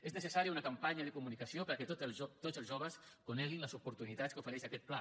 és necessària una campanya de comunicació perquè tots els joves coneguin les oportunitats que ofereix aquest pla